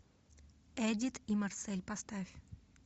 эдит и марсель поставь